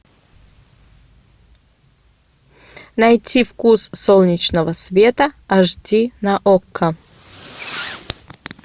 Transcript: найти вкус солнечного света аш ди на окко